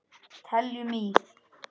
Teljum í!